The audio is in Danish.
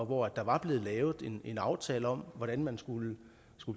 hvor der var blevet lavet en aftale om hvordan man skulle